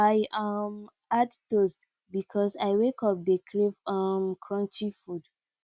i um add toast because i wake up dey crave um crunchy food